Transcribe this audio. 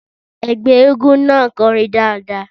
Ẹgbẹ́ eégún náà kọrin dáadáa.